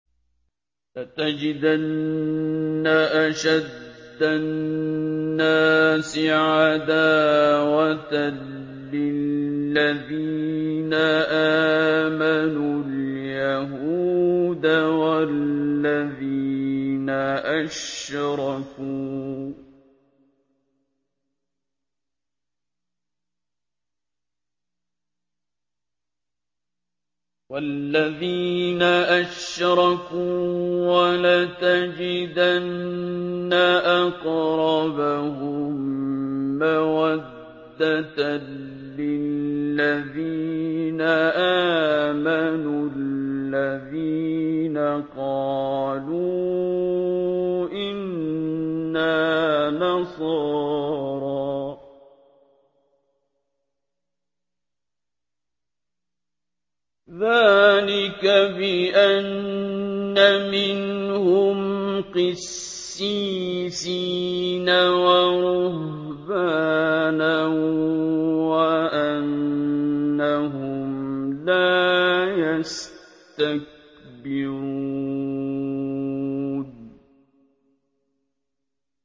۞ لَتَجِدَنَّ أَشَدَّ النَّاسِ عَدَاوَةً لِّلَّذِينَ آمَنُوا الْيَهُودَ وَالَّذِينَ أَشْرَكُوا ۖ وَلَتَجِدَنَّ أَقْرَبَهُم مَّوَدَّةً لِّلَّذِينَ آمَنُوا الَّذِينَ قَالُوا إِنَّا نَصَارَىٰ ۚ ذَٰلِكَ بِأَنَّ مِنْهُمْ قِسِّيسِينَ وَرُهْبَانًا وَأَنَّهُمْ لَا يَسْتَكْبِرُونَ